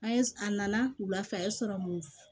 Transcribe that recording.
An ye a nana wula fɛ a ye